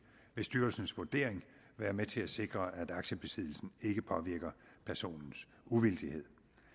vil styrelsens vurdering være med til at sikre at aktiebesiddelsen ikke påvirker personens uvildighed